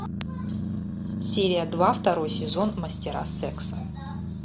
серия два второй сезон мастера секса